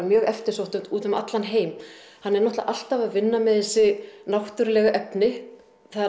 mjög eftirsótt út um allan heim hann er náttúrulega alltaf að vinna með þessi náttúrulega efni